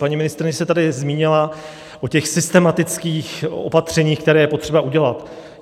Paní ministryně se tady zmínila o těch systematických opatřeních, která je potřeba udělat.